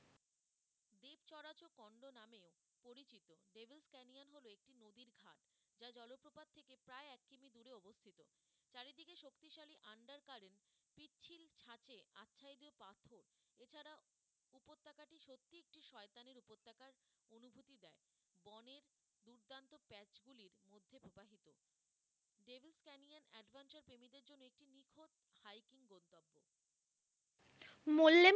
Mollem